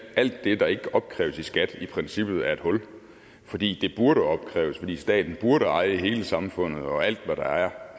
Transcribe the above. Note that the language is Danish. alt det der ikke opkræves i skat i princippet er et hul fordi det burde opkræves fordi staten burde eje hele samfundet og alt hvad der er